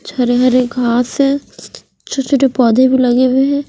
हरे हरे घास है छोटे छोटे पोधे भी लगे हुए है।